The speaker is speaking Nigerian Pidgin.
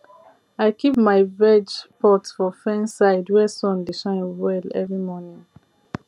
i keep my veg pot for fence side where sun dey shine well every morning